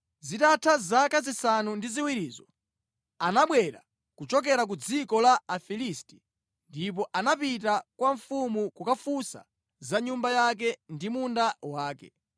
Zitatha zaka zisanu ndi ziwirizo anabwera kuchokera ku dziko la Afilisti ndipo anapita kwa mfumu kukafunsa za nyumba yake ndi munda wake.